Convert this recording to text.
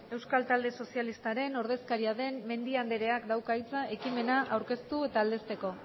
euskal talde sozialistaren ordezkaria den mendia andreak dauka hitza ekimena aurkeztu eta aldezteko